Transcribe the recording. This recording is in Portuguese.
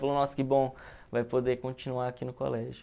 Falou, nossa, que bom, vai poder continuar aqui no colégio.